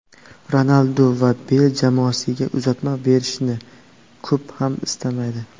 Ronaldu va Beyl jamoadoshiga uzatma berishni ko‘p ham istamaydi.